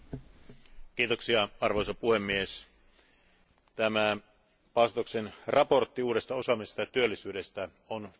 Arvoisa puhemies, tämä Bastosin mietintö uudesta osaamisesta ja työllisyydestä on todella tärkeä.